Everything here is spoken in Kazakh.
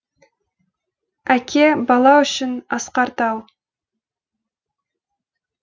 әке бала үшін асқар тау